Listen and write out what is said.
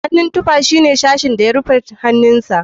Hannun tufa shine sashin da ya rufe hannunka.